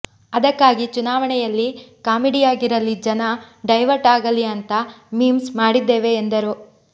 ಅದಕ್ಕಾಗಿ ಚುನಾವಣೆಯಲ್ಲಿ ಕಾಮಿಡಿಯಾಗಿರಲಿ ಜನ ಡೈವರ್ಟ್ ಆಗಲಿ ಅಂತಾ ಮೀಮ್ಸ್ ಮಾಡಿದ್ದೇವೆ ಎಂದರು